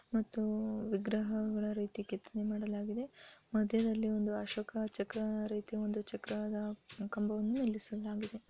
ಮತ್ತು ವಿಗ್ರಹಗಳ ರೀತಿ ಕೆತ್ತನೆಯನ್ನು ಮಾಡಲಾಗಿದೆ ಮಧ್ಯದಲ್ಲಿ ಒಂದು ಅಶೋಕ ಚಕ್ರ ರೀತಿ ಒಂದು ಚಕ್ರದ ಕಂಬವನ್ನು ನಿಲ್ಲಿಸಿದ್ದಾರೆ.